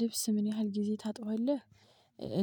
ልብስ ምን ያህል ጊዜ ታጥባለህ?